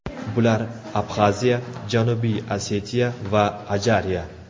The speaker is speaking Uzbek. Bular – Abxaziya, Janubiy Osetiya va Ajariya.